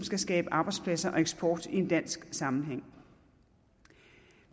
skal skabe arbejdspladser og eksport i en dansk sammenhæng